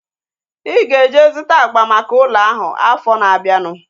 Ị ga-eje zụta agba maka ụlọ ahu afọ na-abianu